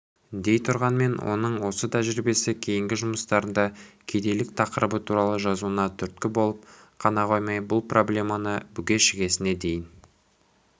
дейтұрғанмен оның осы тәжірибесі кейінгі жұмыстарында кедейлік тақырыбы туралы жазуына түрткі болып қана қоймай бұл проблеманы бүге-шігесіне дейін